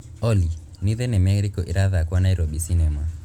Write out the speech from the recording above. olly nĩ thinema ĩrĩkũ ĩrathakwo nairobi cinema